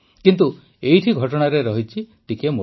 କିନ୍ତୁ ଏଇଠି ଘଟଣାରେ ରହିଛି ଟିକିଏ ମୋଡ଼